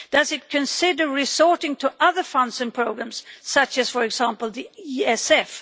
Does it consider resorting to other funds and programmes such as, for example, the ESF?